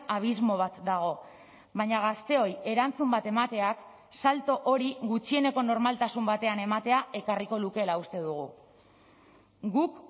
abismo bat dago baina gazteoi erantzun bat emateak salto hori gutxieneko normaltasun batean ematea ekarriko lukeela uste dugu guk